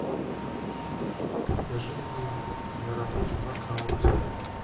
покажи мне киноработу нокаут